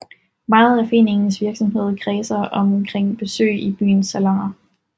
Meget af foreningens virksomhed kredsede omkring besøg i byens saloner